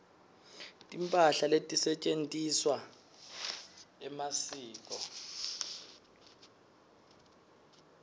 timphahla letisetjentisewa emasiko